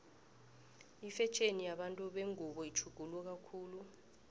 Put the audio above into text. ifetjheni yabantu bengubo itjhuguluka khulu